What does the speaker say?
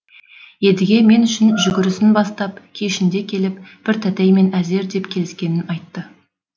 едіге мен үшін жүгірісін бастап кешінде келіп бір тәтеймен әзер деп келіскенін айтты